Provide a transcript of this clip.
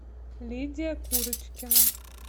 лидия курочкина